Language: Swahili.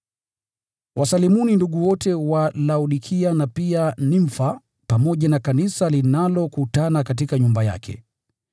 Wasalimuni ndugu wote wa Laodikia, na pia Nimfa, pamoja na kanisa linalokutana katika nyumba yake.